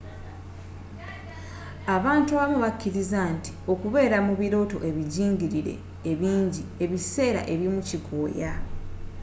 abantu abamu bakkiriza nti okubeera mu birooto ebijingirire ebinji ebiseera ebimu kikooya